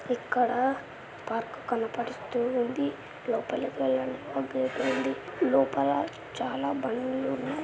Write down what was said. ఇక్కడ పార్కు కనపడుస్తూ ఉంది లోపలకి వెళ్ళడానికి గేట్ ఉంది లోపల చాలా బండ్లు ఉన్నాయి.